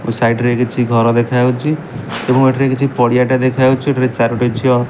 side ରେ କିଛି ଘର ଦେଖା ଯାଉଛି ଏବଂ ଏଠାରେ କିଛି ପଡ଼ିଆଟେ ଦେଖାଯାଉଛି ଏଠାରେ ଚାରୋଟି ଝିଅ --